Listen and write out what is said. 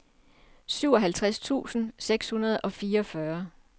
syvoghalvtreds tusind seks hundrede og fireogfyrre